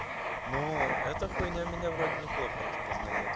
ну эта хуйня меня вроде неплохо распознаёт